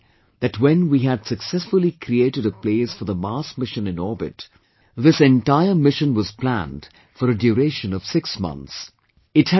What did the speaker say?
You may be aware that when we had successfully created a place for the Mars Mission in orbit, this entire mission was planned for a duration of 6 months